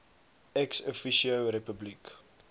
ex officio republiek